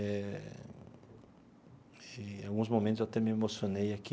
Eh e alguns momentos eu até me emocionei aqui.